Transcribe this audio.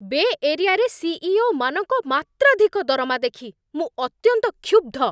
ବେ ଏରିଆ'ରେ ସି.ଇ.ଓ.ମାନଙ୍କ ମାତ୍ରାଧିକ ଦରମା ଦେଖି ମୁଁ ଅତ୍ୟନ୍ତ କ୍ଷୁବ୍ଧ।